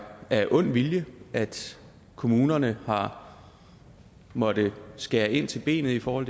af ond vilje at kommunerne har måttet skære ind til benet i forhold